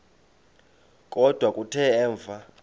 kodwa kuthe emva